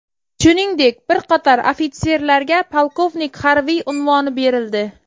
Shuningdek, bir qator ofitserlarga polkovnik harbiy unvoni berildi.